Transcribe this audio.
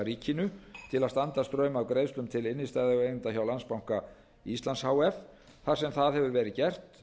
ríkinu til að standa straum af greiðslum til innstæðueigenda hjá landsbanka íslands h f þar sem það hefur verið gert